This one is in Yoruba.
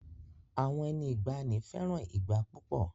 Àwọn ẹni ìgbanì fẹràn ìgbá púpọ̀